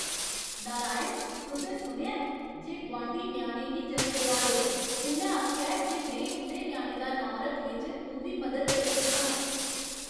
नारायण, तुसें सुनेआ ऐ जे गुआंढी ञ्याणे गी जनम देआ दे न? उ'न्नै आखेआ जे में उं'दे ञ्याणे दा नांऽ रक्खने च उं'दी मदद करी सकनां।